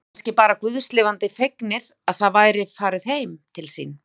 Og voru kannski bara guðs lifandi fegnir að það væri farið heim til sín.